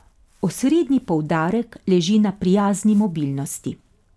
Osrednji poudarek leži na prijazni mobilnosti.